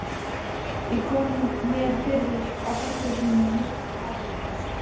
Ég kom mér fyrir á kaffihúsi með mitt hafurtask.